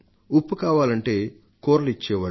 ఉప్పు కావాలంటే కూరలు ఇచ్చేవాళ్లు